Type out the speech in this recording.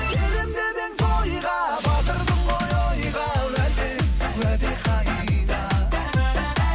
келемін деп едің тойға батырдың ғой ойға уәде уәде қайда